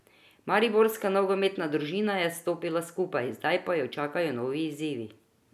Mariborska nogometna družina je stopila skupaj, zdaj pa jo čakajo novi izzivi.